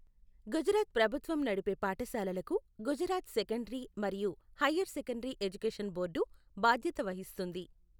గుజరాత్ ప్రభుత్వం నడిపే పాఠశాలలకు గుజరాత్ సెకండరీ మరియు హయ్యర్ సెకండరీ ఎడ్యుకేషన్ బోర్డు బాధ్యత వహిస్తుంది.